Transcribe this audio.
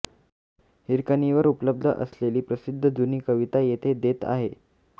हिरकणीवर उपलब्ध असलेली प्रसिद्ध जुनी कविता येथे देत आहे